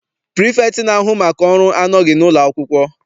Pirifektị na-ahu maka ọrụ anọghị n'ụlọ akwụkwọ.